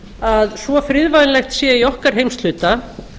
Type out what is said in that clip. að svo friðvænlegt sé í okkar heimshluta